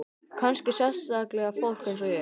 Kannski sérstaklega fólk eins og ég.